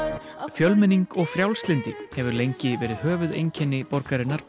fjölmenning og frjálslyndi hefur lengi verið höfuðeinkenni borgarinnar